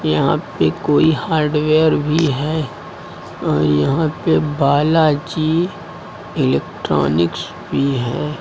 यहां पे कोई हार्डवेयर भी है और यहां पे बालाजी इलेक्ट्रॉनिक्स भी है।